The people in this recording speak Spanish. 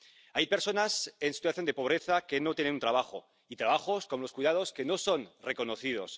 Hay personas en situación de pobreza que no tienen trabajo, y trabajos, como los cuidados, que no son reconocidos.